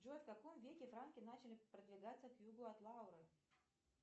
джой в каком веке франки начали продвигаться к югу от лауры